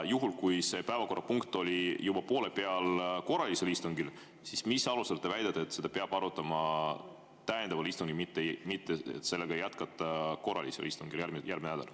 Juhul, kui see päevakorrapunkt oli korralisel istungil juba poole peal, siis mis alusel te väidate, et seda peab arutama täiendaval istungil, mitte jätkama seda järgmise nädala korralisel istungil?